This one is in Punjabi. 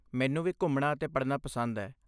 ਮੈਨੂੰ ਵੀ ਘੁੰਮਣਾ ਅਤੇ ਪੜ੍ਹਨਾ ਪਸੰਦ ਹੈ।